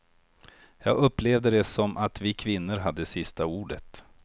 Jag upplevde det som att vi kvinnor hade sista ordet.